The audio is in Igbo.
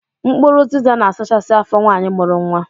Mkpụrụ ụzịza na-asachasị afọ nwaanyi mụrụ nwa.